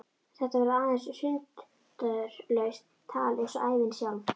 Þetta verður aðeins sundurlaust tal eins og ævin sjálf.